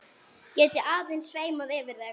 Geti aðeins sveimað yfir þeim.